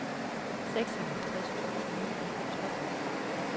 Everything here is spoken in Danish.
seksoghalvtreds tusind ni hundrede og tolv